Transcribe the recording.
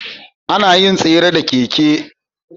Anayin tsere da keke